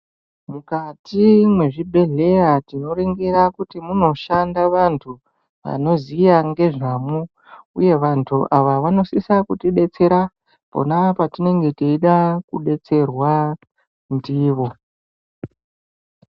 Mukati mwe zvibhedhleya tino ningira kuti muno shanda vantu vanoziya nge zvamwo uye vantu ava vano sisa kuti detsera ponapo patinge teida ku detserwa ndivo.